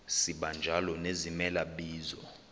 sibanjalo nezimela bizo